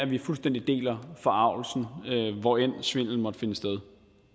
vi fuldstændig deler forargelsen hvor end svindelen måtte finde sted